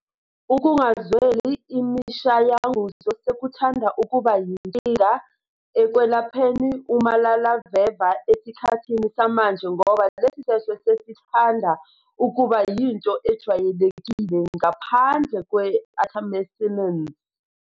Ukungazweli imishayanguzo sekuthanda ukuba inkinga ekwelapheni umalaleveva esikhathini samanje ngoba lesi sehlo sesithanda ukuba yinto ejwayelekile, ngaphandle kwe-artemisinins